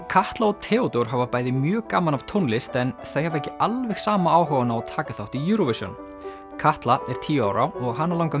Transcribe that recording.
Katla og Theódór hafa bæði mjög gaman af tónlist en þau hafa ekki alveg sama áhugann á að taka þátt í Eurovision Katla er tíu ára og hana langar